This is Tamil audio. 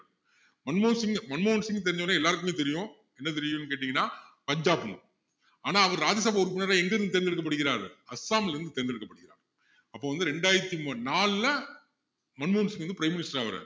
மன்மோகன் சிங் மன்மோகன் சிங்க தெரிஞ்சவரை எல்லாருக்குமே தெரியும் என்ன தெரியுன்னு கேட்டீங்கன்னா பஞ்சாபி ஆனா அவரு ராஜ்ய சபா உறுப்பினரா எங்க இருந்து தேர்ந்தெடுக்கப்படுகிறார் அஸ்ஸாம்ல இருந்து தேர்ந்தெடுக்கபடுகிறார் அப்போ வந்து ரெண்டாயிரத்து நாளுல மன்மோகன் சிங் வந்து prime minister ஆகுறாரு